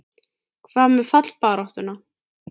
Hvað með fallbaráttuna?